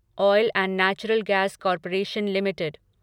oil and natural gas corporation limited